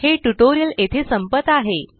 हे ट्यूटोरियल येथे संपत आहे